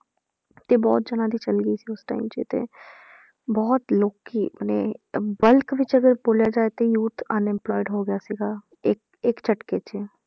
ਤੇ ਬਹੁਤ ਜਾਣਿਆਂ ਦੀ ਚਲੀ ਗਈ ਸੀ ਉਸ time 'ਚ ਤੇ ਬਹੁਤ ਲੋਕੀ ਆਪਣੇ ਅਹ bulk ਵਿੱਚ ਅਗਰ ਬੋਲਿਆ ਜਾਏ ਤੇ youth unemployed ਹੋ ਗਿਆ ਸੀਗਾ ਇੱਕ ਇੱਕ ਝਟਕੇ 'ਚ